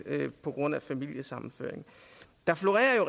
på grund af familiesammenføring der florerer